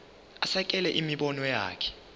asekele imibono yakhe